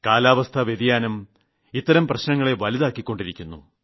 കാലാവസ്ഥാവ്യതിയാനം ഇത്തരം പ്രശ്നങ്ങളെ വർദ്ധിപ്പിക്കുന്നു